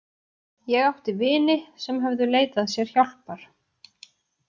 Ég átti vini sem höfðu leitað sér hjálpar.